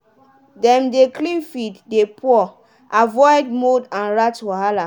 dem dey clean feed dey pour avoid mould and rat wahala.